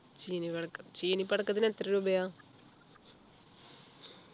ചീനി പടക്ക ചീനി പടക്കത്തിന് എത്ര രൂപയാ